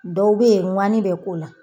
Dɔw bɛ yen ŋani bɛ k'o la